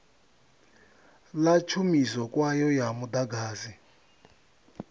ḽa tshumiso kwayo ya muḓagasi